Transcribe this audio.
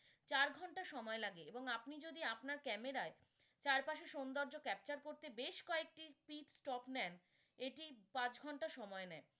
চার ঘণ্টা সময় লাগে এবং আপনি যদি আপনার camera য় চারপাশের সুন্দর্য capture করতে বেশ কয়েকটি strip stock নেন এটি পাঁচ ঘণ্টা সময় নেয়।